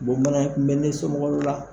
Bon bana kun bɛ ne somɔgɔ dow la.